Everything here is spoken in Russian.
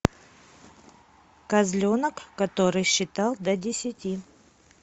козленок который считал до десяти